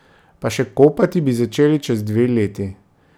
Pa še kopati bi začeli čez dve leti.